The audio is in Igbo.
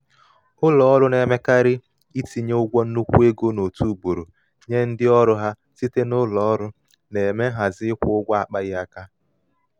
ụlọ ụlọ ọrụ na-emekarị itinye ụgwọ nnukwu ego n'otu ugboro nye ndị ọrụ ha site na ụlọ ọrụ na-eme nhazi ịkwụ ụgwọ akpaghị aka.